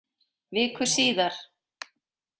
Viku síðar.